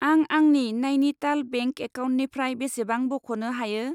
आं आंनि नाइनिटाल बेंक एकाउन्टनिफ्राय बेसेबां बख'नो' हायो?